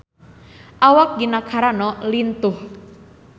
Awak Gina Carano lintuh